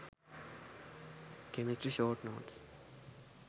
chemistry short notes